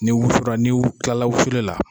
Ni wusura, ni kilara wusulila.